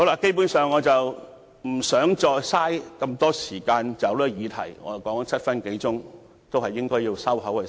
基本上，我不想再浪費時間在這項議題上，我已發言超過7分鐘，是時候閉口。